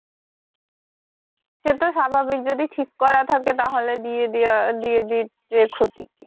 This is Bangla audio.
সে তো স্বাভাবিক যদি ঠিক করা থাকে তাহলে দিয়ে দেয়া দিয়ে দিতে ক্ষতি কি?